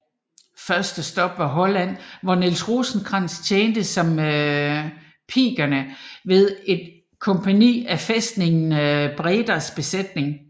Første stop var Holland hvor Niels Rosenkrantz tjente som pikener ved et kompagni af fæstningen Bredas Besætning